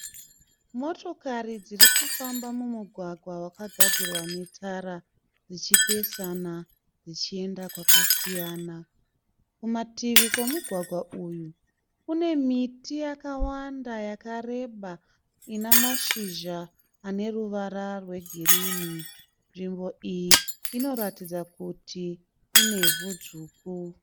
Motokari dzirikufamba mumugwagwa wakagadzirwa netara dzichipesana dzichienda kwakasiyana. Kumativi kwemugwagwa uyu kune miti yakawanda yakareba inamashizha aneruvara rwegirini. Nzvimbo iyi inoratidza kuti inevhu dzvuku.